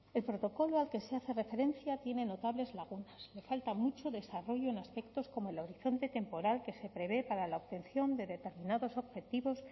el protocolo al que se hace referencia tiene notables lagunas le falta mucho desarrollo en aspectos como el horizonte temporal que se prevé para la obtención de determinados objetivos